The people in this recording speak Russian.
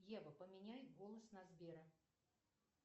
ева поменяй голос на сбера